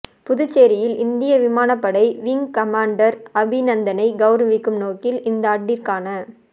புதுச்சேரியில் இந்திய விமானப்படை விங் கமாண்டர் அபிநந்தனை கௌரவிக்கும் நோக்கில் இந்தாண்டிற்கான